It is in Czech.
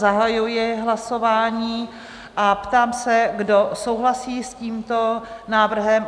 Zahajuji hlasování a ptám se, kdo souhlasí s tímto návrhem?